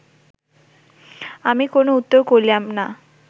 আমি কোন উত্তর করিলাম না